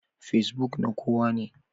Kacebook na kowane.